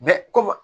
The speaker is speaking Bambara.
komi